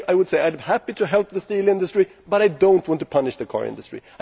Because I am happy to help the steel industry, but I do not want to punish the car industry.